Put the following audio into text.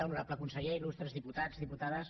honorable conseller il·lustres diputats diputades